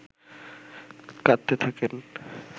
কাঁদতে থাকেন